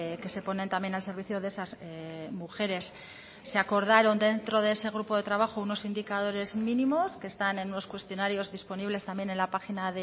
que se ponen también al servicio de esas mujeres se acordaron dentro de ese grupo de trabajo unos indicadores mínimos que están en unos cuestionarios disponibles también en la página